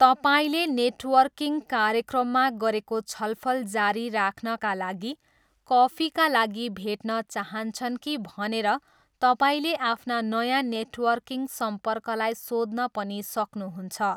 तपाईँले नेटवर्किङ कार्यक्रममा गरेको छलफल जारी राख्नाका लागि कफीका लागि भेट्न चाहन्छन् कि भनेर तपाईँले आफ्ना नयाँ नेटवर्किङ सम्पर्कलाई सोध्न पनि सक्नुहुन्छ।